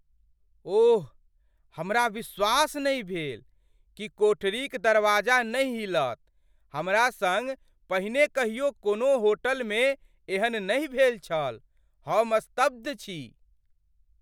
ओह, हमरा विश्वास नहि भेल कि कोठरीक दरवाजा नहि हिलत! हमरा सङ्ग पहिने कहियो कोनो होटलमे एहन नहि भेल छल। हम स्तब्ध छी!